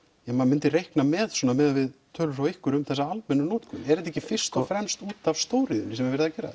ja maður myndi reikna með svona miðað við tölur frá ykkur um þessa almennu notkun er þetta ekki fyrst og fremst útaf stóriðjunni sem er verið að gera